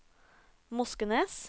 Moskenes